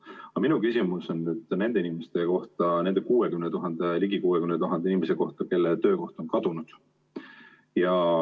Aga minu küsimus on nende inimeste kohta, nende ligi 60 000 inimese kohta, kelle töökoht on kadunud.